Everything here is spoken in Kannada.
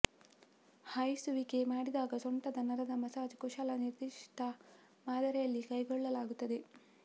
ಹಾಯಿಸುವಿಕೆ ಮಾಡಿದಾಗ ಸೊಂಟದ ನರದ ಮಸಾಜ್ ಕುಶಲ ನಿರ್ದಿಷ್ಟ ಮಾದರಿಯಲ್ಲಿ ಕೈಗೊಳ್ಳಲಾಗುತ್ತದೆ